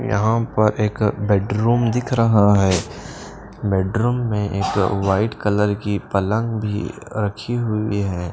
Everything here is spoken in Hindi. यहां पर एक बेडरूम दिख रहा है बेडरूम में एक वाइट कलर की पलंग भी रखी हुई है।